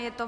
Je to